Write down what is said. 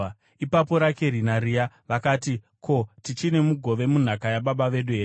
Ipapo Rakeri naRea vakati, “Ko, tichine mugove munhaka yababa vedu here?